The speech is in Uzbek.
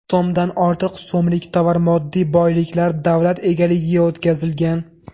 so‘mdan ortiq so‘mlik tovar-moddiy boyliklar davlat egaligiga o‘tkazilgan.